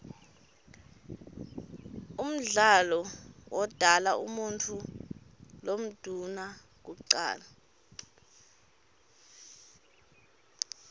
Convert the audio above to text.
umdali wodala umuutfu lomdouna kucala